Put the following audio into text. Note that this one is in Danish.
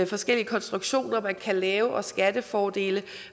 forskellige konstruktioner man kan lave og skattefordelene